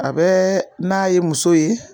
A bɛ n'a ye muso ye.